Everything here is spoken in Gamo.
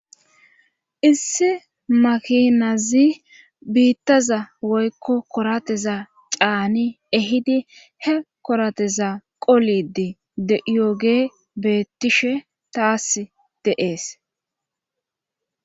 Isse makinazi biittaza woykko korateza caani ehidi he korateza qolidi deyoge beettishe taas de7ees.